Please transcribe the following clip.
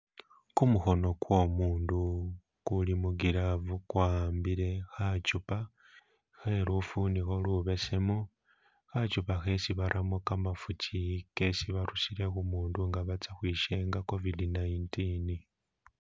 Kumukhono kwo umundu kuli mu glove kwa'ambile kha chupa khe lufunikho lubesemu , khachupa khesi baramo kamafuki kesi barusile khu mundu nga batsa khwishenga covid 19.